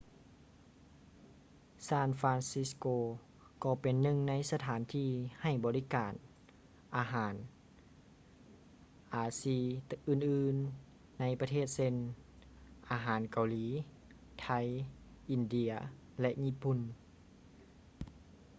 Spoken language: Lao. ຊານຟຼານຊິດສະໂກ san francisco ກໍເປັນໜຶ່ງໃນສະຖານທີ່ໃຫ້ບໍລິການອາຫານອາຊີອື່ນໆໃນປະເທດເຊັ່ນ: ອາຫານເກົາຫຼີ ໄທ ອິນເດຍ ແລະ ຍີ່ປຸ່ນ